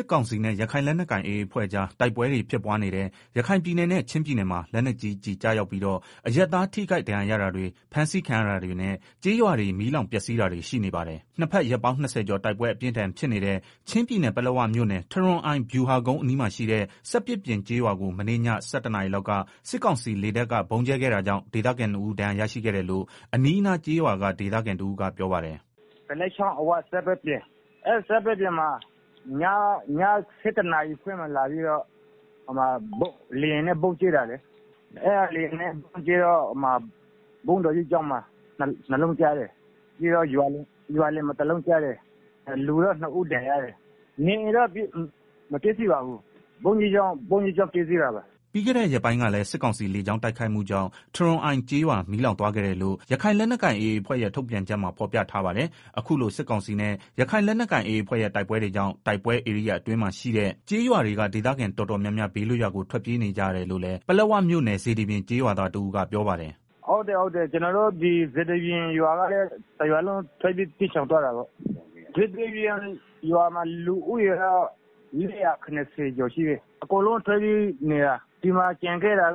စ်ကောင်စီနဲ့ ရခိုင်လက်နက်ကိုင် AA အဖွဲ့ကြားတိုက်ပွဲတွေ ဖြစ်ပွားနေတဲ့ ရခိုင်ပြည်နယ်နဲ့ ချင်းပြည်နယ်မှာ လက်နက်ကြီးကျည် ကျရောက်ပြီးတော့ အရပ်သားထိခိုက် ဒဏ်ရာရတာတွေ၊ ဖမ်းဆီးခံရတာတွေနဲ့ ကျေးရွာတွေ မီးလောင် ပျက်စီးတာတွေ ရှိနေပါတယ်။ နှစ်ဘက် ရက်ပေါင်း ၂ဝ ကျော်တိုက်ပွဲ အပြင်းအထန်ဖြစ်နေတဲ့ ချင်းပြည်နယ်၊ ပလက်ဝမြို့နယ် ထရွန်အိုင် ဗျူဟာကုန်းအနီးမှာရှိတဲ့ စက်ပစ်ပြင် ကျေးရွာကို မနေ့ည ၁၁နာရီလောက်က စစ်ကောင်စီလေတပ်က ဗုံးကြဲခဲ့တာကြောင့် ဒေသခံနှစ်ဦး ဒဏ်ရာရရှိခဲ့တယ်လို့ အနီးအနားကျေးရွာက ဒေသခံတဦးက ပြောပါတယ်။ “ကလက်ချောင်းအဝ စက်ပစ်ပြင် ၊ အဲဒီမှာ မနေ့က ည ၁၁ နာရီလောက်မှာ လာပြီးတော့ လေယာဉ်နဲ့ဗုံးကြဲတာလေ၊ ဘုန်းတော်ကြီးကျောင်းမှာ ၂ လုံးကျတယ်၊ ပြီးတော့ ရွာလည်မှာ တလုံးကျတယ်၊ လူ နှစ်ဦးဒဏ်ရာရတယ်။ နေအိမ်တွေတော့ ပျက်စီးတာမရှိဘူး၊ ဘုန်းကြီး ကျောင်းတော့ ပျက်စီးသွားတယ်။” ပြီးခဲ့ရက်ပိုင်းကလည်း စစ်ကောင်စီလေကြောင်းတိုက်ခိုက်မှုကြောင့် ထရွန်အိုင် ကျေးရွာ မီးလောင်သွားခဲ့တယ်လို့ ရခိုင်လက်နက်ကိုင် AA အဖွဲ့ရဲ့ ထုတ်ပြန်ချက်မှာ ဖော်ပြထားပါတယ်။ အခုလို စစ်ကောင်စီနဲ့ ရခို်င်လက်နက်ကိုင်AAအဖွဲ့ရဲ့ တိုက်ပွဲတွေကြောင့် တိုက်ပွဲဧရိယာ အတွင်းမှာရှိတဲ့ ကျေးရွာတွေက ဒေသခံ တော်တော်များများ ဘေးလွတ်ရာကို ထွက်ပြေး နေကြရတယ်လို့လည်း ပလက်ဝမြို့နယ်၊ စေတီပြင် ကျေးရွာသားတဦးက ပြောပါတယ်။ “ကျနော်တို့ စေတီပြင် ရွာကလည်း တရွာလုံး ထွက်ပြေးနေရတယ်။ လူဦးရေကတော့ ၄၇ဝ လောက်ရှိတယ်။ အကုန်ထွက်ပြေးသွားကြတာ။ ရွာကျန်ခဲ့တာ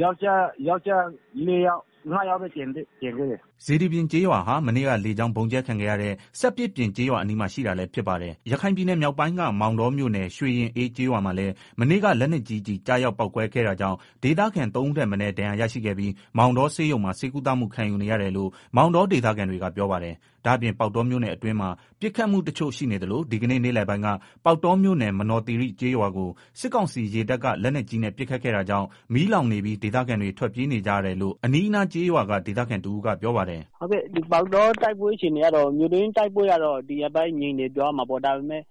ယောကျ်ား ၄ယောက်ပဲ ကျန်ခဲ့တယ်။” စေတီပြင်ကျေးရွာဟာ မနေ့က လေးကြောင်ဗုံးကျဲခံရတဲ့ စက်ပစ်ပြင် ကျေးရွာအနီးမှာ ရှိတာလည်း ဖြစ်ပါတယ်။ ရခိုင်ပြည်နယ်မြောက်ပိုင်းက မောင်တောမြို့နယ်၊ ရွေရင်အေး ကျေးရွာမှာလည်း မနေ့က လက်နက်ကြီးကျည် ကျရောက် ပေါက်ကွဲခဲ့တာကြောင့် ဒေသခံ ၃ဦးထက်မနည်း ဒဏ်ရာရရှိခဲ့ပြီး မောင်တောဆေးရုံမှာ ဆေးကုသမှု ခံယူနေရတယ်လို့ မောင်တော ဒေသခံတွေက ပြောပါတယ်။ ဒါ့အပြင် ပေါက်တောမြို့အတွင်းမှာ ပစ်ခတ်မှုတချို့ ရှိနေသလို ဒီကနေ့ နေ့လည်ပိုင်းက ပေါက်တောမြို့နယ်၊ မနော်သီရိ ကျေးရွာကို စစ်ကောင်စီရေတပ်က လက်နက်ကြီးနဲ့ ပစ်ခတ်ခဲ့တာကြောင့် မီးလောင်နေပြီး ဒေသခံတွေ ထွက်ပြေးနေကြရတယ်လို့ အနီးအနားကျေးရွာက ဒေသခံတဦးက ပြောပါတယ်။ “မြို့တွင်းတိုက်ပွဲကတော့ ဒီရက်ပိုင်းငြိမ်နေတယ်ပြောရမှာပေါ့၊ ဒါပေမယ့်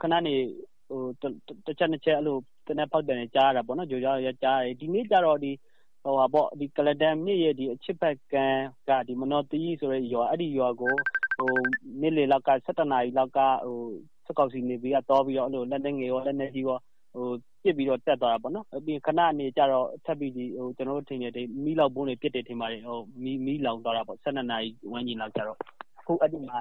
ခဏနေ တချက်၊ နှစ်ချက် သေနတ်ပစ်သံကြားရတာပေါ့။ ဒီနေ့ကတော့ ကုလားတန်မြစ်ရဲ့ အရှေ့ဖက်ခြမ်းက မနော်သီရိဆိုတဲ့ ရွာကို နေ့လည်လောက်က စစ်ကောင်စီနေဗီ က သွားပြီးတော့ လက်နက်ငယ်ရော လက်နက်ကြီးရော ပစ်ပြီးတော့ တက်သွားတယ် ခဏနေကျတော့ မီးလောင်ဗုံးတွေ ပစ်တယ်ထင်ပါတယ်၊ ၁၂နာရီဝန်းကျင်လောက်ကျတော့ မီးလောင်သွားတာပေါ့၊ အဲဒီမှာ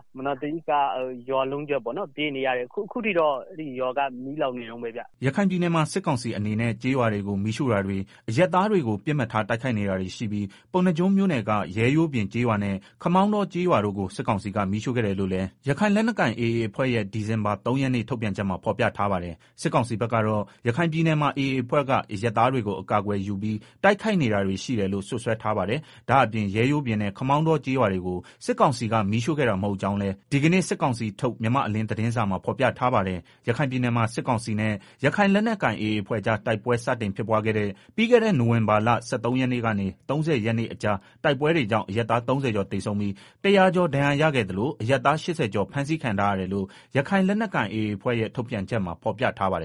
ရွာလုံးကျွတ်ထွက်ပြေးနေရတယ် အခုထိ အဲဒီမှာ မီးလောက်နေတုန်းပဲဗျာ။” ရခိုင်ပြည်နယ်မှာ စစ်ကောင်စီအနေနဲ့ ကျေးရွာတွေကို မီးရှို့တာတွေ၊ အရပ်သားတွေကို ပစ်မှတ်ထား တိုက်ခိုက်နေတာတွေရှိပြီး ပုံဏ္ဏားကျွန်းမြို့နယ်က ရဲရိုးပြင်ကျေးရွာနဲ့ ခမောင်းတော ကျေးရွာတို့ကို စစ်ကောင်စီက မီးရှို့ခဲ့တယ်လို့လည်း ရခိုင်လက်နက်ကိုင် AA အဖွဲ့ရဲ့ ဒီဇင်ဘာလ ၃ရက်နေ့ ထုတ်ပြန်ချက်မှာ ဖော်ပြထားပါတယ်။ စစ်ကောင်စီဘက်ကတော့ ရခိုင်ပြည်နယ်မှာ AA အဖွဲ့က အရပ်သားတွေကို အကာအကွယ်ယူပြီး တိုက်ခိုက်နေတာတွေ ရှိတယ်လို့ စွပ်စွဲ ထားပါတယ်။ ဒါ့အပြင် ရဲရိုးပြင်နဲ့ ခမောင်းတောကျေးရွာကို စစ်ကောင်စီက မီးရှို့ခဲ့တာ မဟုတ်ကြောင်းလည်း ဒီကနေ့ စစ်ကောင်စီထုတ် မြန်မာ့အလင်း သတင်းစာမှာ ဖော်ပြထားပါတယ်။ ရခိုင်ပြည်နယ်မှာ စစ်ကောင်စီနဲ့ ရခိုင်လက်နက်ကိုင် AA အဖွဲ့ကြား တိုက်ပွဲစတင်ဖြစ်ပွားခဲ့တဲ့ ပြီးခဲ့တဲ့ နိုဝင်ဘာလ ၁၃ ရက်နေ့ကနေ ၃ဝ နေ့အကြား တိုက်ပွဲကြောင့် အရပ်သား ၃ဝကျော်သေဆုံးပြီး ၁ဝဝကျော် ဒဏ်ရာရရှိခဲ့သလို အရပ်သား ၈ဝကျော် ဖမ်းဆီးခံ ထားရတယ်လို့ ရခိုင်လက်နက်ကိုင် AA အဖွဲ့ရဲ့ ထုတ်ပြန်ချက်မှာ ဖော်ပြထားပါတယ်